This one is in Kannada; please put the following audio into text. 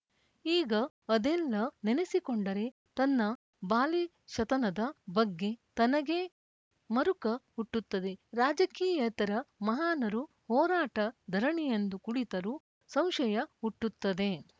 ಈಗ ಅದೆಲ್ಲ ನೆನೆಸಿಕೊಂಡರೆ ತನ್ನ ಬಾಲಿ ಶತನದ ಬಗ್ಗೆ ತನಗೇ ಮರುಕ ಹುಟ್ಟುತ್ತದೆ ರಾಜಕೀಯೇತರ ಮಹಾನರು ಹೋರಾಟ ಧರಣಿಯೆಂದು ಕುಳಿತರೂ ಸಂಶಯ ಹುಟ್ಟುತ್ತದೆ